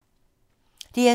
DR2